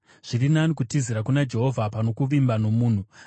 Zviri nani kutizira kuna Jehovha pano kuvimba nomunhu.